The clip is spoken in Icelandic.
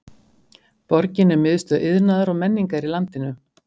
Borgin er miðstöð iðnaðar og menningar í landinu.